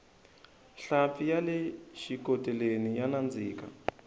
nhlampfi yale xikoteleni ya nandzika